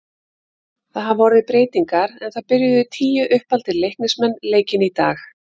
Það hafa orðið breytingar en það byrjuðu tíu uppaldir Leiknismenn leikinn í dag.